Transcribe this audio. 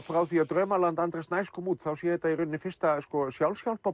frá því að draumaland Andra Snæs kom út þá sé þetta í rauninni fyrsta